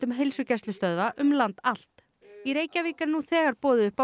heilsugæslustöðva um land allt í Reykjavík er nú þegar boðið upp á